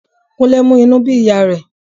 Kúnlé mú inú bí ìyá rẹ̀